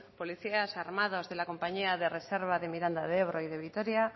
policías armados de la compañía de reserva de miranda de ebro y de vitoria